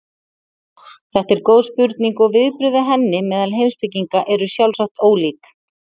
þetta er góð spurning og viðbrögð við henni meðal heimspekinga eru sjálfsagt ólík